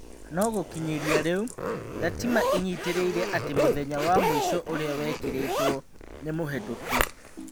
No-gũkinyĩria rĩu, Ndatima ĩnyitĩrĩire atĩ mũthenya wa mũico ũria wekĩrĩtwo nĩmũhetũku.